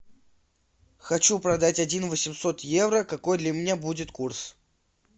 хочу продать один восемьсот евро какой для меня будет курс